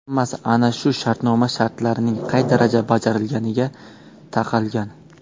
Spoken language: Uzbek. Hammasi ana shu shartnoma shartlarining qay darajada bajarilganiga taqalgan.